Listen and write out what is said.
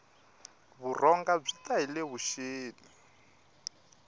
vurhonga byi ta hile vuxeni